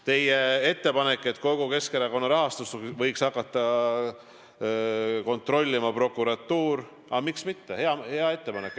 Teie ettepanek, et kogu Keskerakonna rahastust võiks hakata kontrollima prokuratuur – aga miks mitte, hea ettepanek.